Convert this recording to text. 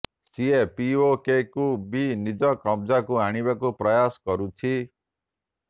ସିଏ ପିଓକେକୁ ବି ନିଜ କବ୍ଜାକୁ ଆଣିବାକୁ ପ୍ରୟାସ କରୁଛି